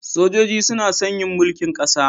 Sojoji suna son yin mulkin kasa.